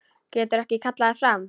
Getur ekki kallað þær fram.